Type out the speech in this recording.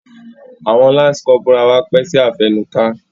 Awọn lance corporal wá pẹ si afẹnuka.